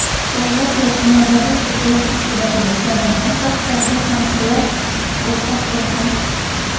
davlat yoki nodavlat tibbiyot tashkilotida ishlamaydigan shaxslarga (hamshira) ruxsat beriladi.